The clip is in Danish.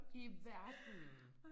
I verden